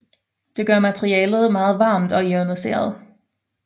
Det gør materialet meget varmt og ioniseret